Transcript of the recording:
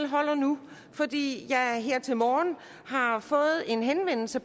holder nu fordi jeg her til morgen har fået en henvendelse